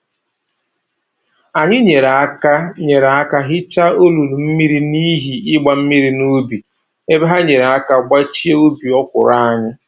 Anyị nyere aka nyere aka hicha olulu mmiri n'ihi ịgba mmiri n'ubi, ebe ha nyere aka gbachie ubi okwụrụ anyị